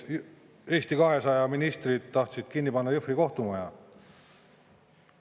Eesti 200 ministrid tahtsid kinni panna Jõhvi kohtumaja.